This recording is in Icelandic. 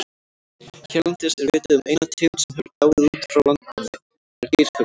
Hérlendis er vitað um eina tegund sem hefur dáið út frá landnámi, það er geirfuglinn.